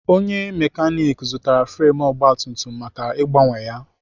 Onye mekanik zụtara fremu ogbatumtum maka ịgbanwe ya.